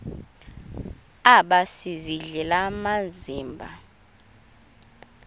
aba sisidl amazimba